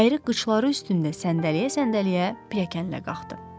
Əyri qıçları üstündə səndələyə-səndələyə pirəkənlə qalxdı.